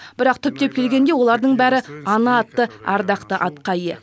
бірақ түптеп келгенде олардың бәрі ана атты ардақты атқа ие